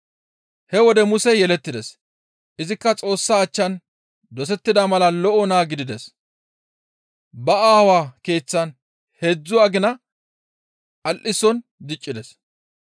He wode Musey yelettides; izikka Xoossa achchan dosettida mala lo7o naa gidides; ba aawaa keeththan heedzdzu agina al7ison diccides.